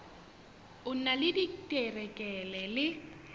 o na le diterekere le